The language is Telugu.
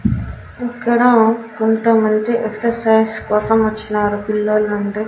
ఇక్కడ కొంతమంది ఎక్సర్సైజ్ కోసం వచ్చినారు పిల్లలు అండి.